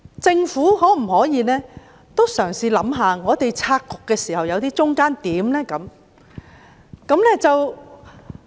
政府可否嘗試想一想，在我們拆局時能否取得中間點？